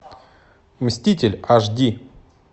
мститель аш ди